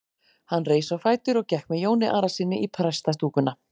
Hann reis á fætur og gekk með Jóni Arasyni í prestastúkuna.